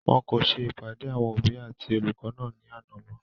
wọn kò ṣe ìpàdé àwọn òbí àti olùkọ́ náà ní àná mọ́